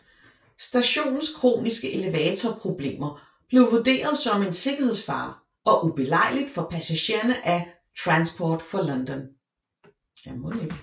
Stationens kroniske elevatorproblemer blev vurderet som en sikkerhedsfare og ubelejligt for passagerne af Transport for London